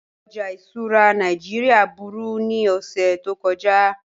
Ọjà ìṣura Nàìjíríà búru ni ọṣẹ̀ tó kọja